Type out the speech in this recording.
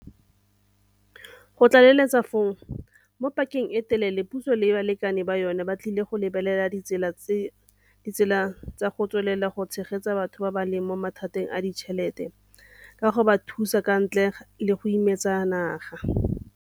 Go tlaleletsa foo, mo pakeng e e telele puso le balekane ba yona ba tla lebelela ditsela tsa go tswelela go tshegetsa batho ba ba leng mo mathateng a ditšhelete ka go ba thusa ka ntle le go imetsa naga.